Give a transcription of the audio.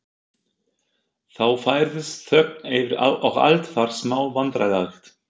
Þá færðist þögn yfir og allt varð smá vandræðalegt.